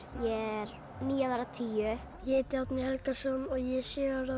ég er níu að verða tíu ég heiti Árni Helgason ég er sjö ára